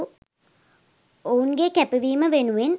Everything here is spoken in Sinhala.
ඔවුන්ගේ කැපවීම වෙනුවෙන්